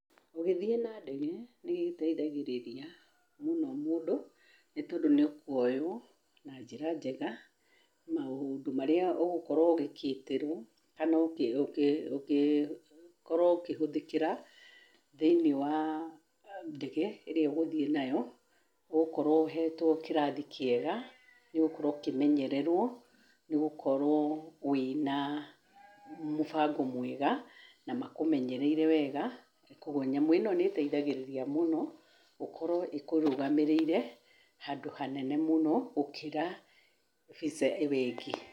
Ũgĩthiĩ na ndege, nĩ gĩteithagĩrĩria mũno mũndũ, nĩ tondũ nĩ ũkuoywo na njĩra njega, maũndũ marĩa ũgũkorwo ũgĩkĩtĩrwo kana ũkĩ ũkĩhũthĩkĩra, thĩ-inĩ wa ndege, ĩrĩa ũgũthiĩ nayo, ũgũkorwo ũhetwo kĩrathi kĩega, nĩ ũgũkorwo ũkĩmenyererwo, nĩ gũkorwo wĩna mũbango mwega na makũmenyereire wega, koguo nyamũ ĩno nĩ ĩgũteithagĩrĩria mũno, gũkorwo ĩkũrũgamĩrĩire, handũ hanene mũno gũkĩra Visa ĩyo ĩngĩ.